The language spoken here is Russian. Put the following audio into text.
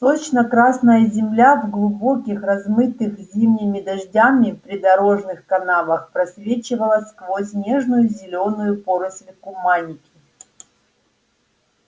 сочно-красная земля в глубоких размытых зимними дождями придорожных канавах просвечивала сквозь нежную зелёную поросль куманики